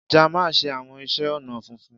Jamal ṣe awọn iṣẹ ọnà funfun.